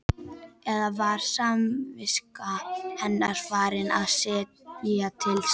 Eða var samviska hennar farin að segja til sín?